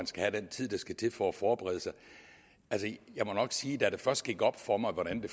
skal have den tid der skal til for at forberede sig jeg må nok sige da det først gik op for mig hvordan det